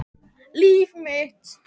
Líf mitt.